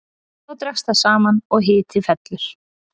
Þá dregst það saman og hiti fellur.